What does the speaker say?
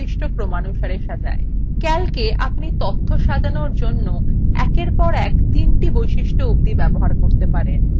calcএ আপনি তথ্য সাজানোর জন্য একের পর in তিনটি বৈশিষ্ট্য অবধি ব্যহহার করতে পারেন